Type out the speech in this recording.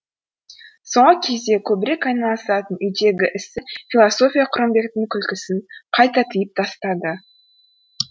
соңғы кезде көбірек айналысатын үйдегі ісі философия құрымбектің күлкісін қайта тыйып тастады